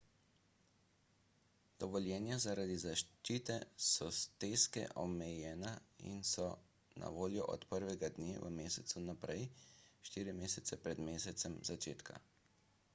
dovoljenja so zaradi zaščite soteske omejena in so na voljo od 1 dne v mesecu naprej štiri mesece pred mesecem začetka